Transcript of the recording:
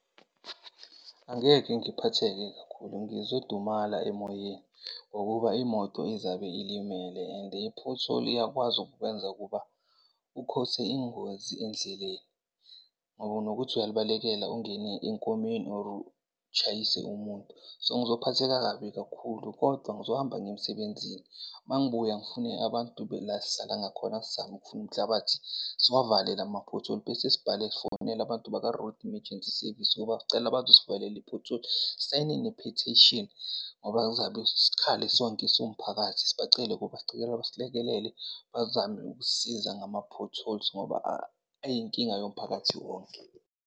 Angeke ngiphatheke kakhulu ngizodumala emoyeni ngokuba imoto izabe ilimele and i-pothole iyakwazi ukukwenza ukuba u-cause-e ingozi endleleni. Ngoba unokuthi uyalibalekela ungene enkomeni or utshayise umuntu. So, ngizophatheka kabi kakhulu kodwa ngizohamba ngiye emsebenzini, mangibuya ngifune abantu la esihlala ngakhona sizame ukufuna umhlabathi siwavale lama-pothole. Bese sibhale, sifonela abantu bakwa-Road Emergency Service ukuba sicela bazosivalela i-pothole, sisayine ne-petition ngoba kuzabe sikhale sonke siwumphakathi. Sibacele ukuthi sicela basilekelele bazame ukusisiza ngama-potholes ngoba ayinkinga yomphakathi wonke.